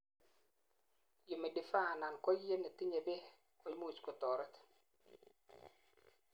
humidifier anan koiyet netinyei beek koimuch kotoret